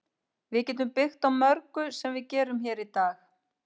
Við getum byggt á mörgu sem við gerum hér í dag.